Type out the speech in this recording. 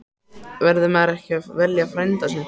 Verður maður ekki að velja frænda sinn?